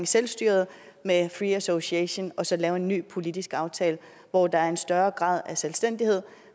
selvstyret med free association og så lave en ny politisk aftale hvor der er en større grad af selvstændighed